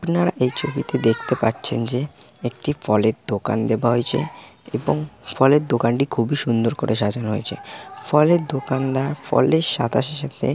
আপনারা এই ছবিতে দেখতে পাচ্ছেন যে একটি ফলের দোকান দেওয়া হয়েছে এবং ফলের দোকানটি খুবই সুন্দর করে সাজানো হয়েছে ফলের দোকানদার ফলে সাদাসে সাথে--